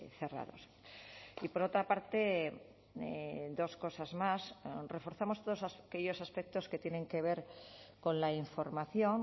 cerrados y por otra parte dos cosas más reforzamos todos aquellos aspectos que tienen que ver con la información